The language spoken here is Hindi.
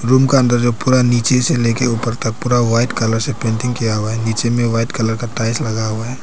रूम का अंदर जो पूरा नीचे से लेकर ऊपर तक पूरा वाइट कलर से पेंटिंग किया हुआ है नीचे में वाइट कलर का टाइल्स लगा हुआ है।